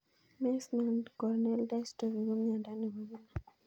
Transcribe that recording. Meesmann corneal dystrophy ko miondo nepo kila